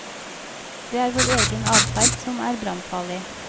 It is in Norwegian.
Det er vår egen adferd som er brannfarlig.